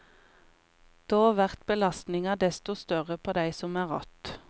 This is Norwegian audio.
Då vert belastninga desto større på dei som er att.